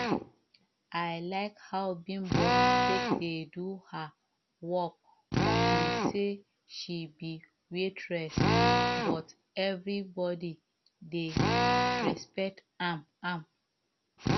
i like how bimbo take dey do her work upon say she be waitress but everybody dey respect am am